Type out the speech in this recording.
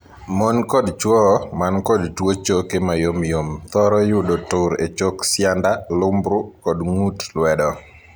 Mon kod chwo man kod tuo choke mayomyom thoro yudo tur e chok sianda, lubru, kod ng'ut lwedo.